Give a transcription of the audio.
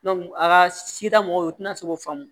a ka sida mɔgɔw u tɛna se k'o faamu